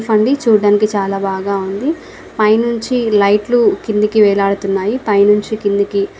చూడ దానికి చాలా బాగా ఉంది. పైన నుంచి లైట్ లు కిందికి వెళ్ళాడుతూ ఉన్నాయి. పైన్ నుంచి కిందికి --